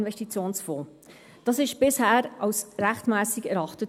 Dies wurde bisher als rechtmässig erachtet.